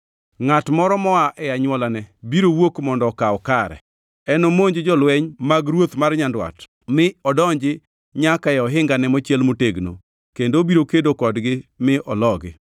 “Ngʼat moro moa e anywolane biro wuok mondo okaw kare. Enomonj jolweny mag ruoth mar Nyandwat mi odonji nyaka e ohingane mochiel motegno kendo obiro kedo kodgi mi ologi.